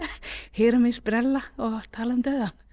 heyra mig sprella og tala um dauðann